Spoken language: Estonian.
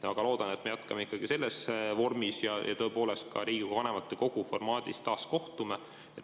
Väga loodan, et me jätkame ikkagi selles vormis ja tõepoolest ka Riigikogu vanematekogu formaadis taas kohtume.